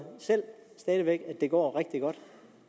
selv stadig væk at det går rigtig godt